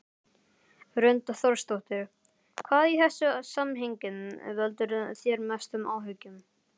Hrund Þórsdóttir: Hvað í þessu samhengi veldur þér mestum áhyggjum?